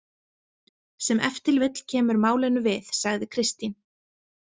Sem ef til vill kemur málinu við, sagði Kristín.